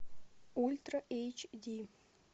ультра эйч ди